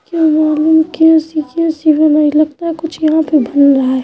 क्या मालूम कैसी-कैसी बनाई लगता है कुछ यहाँ पे बन रहा है।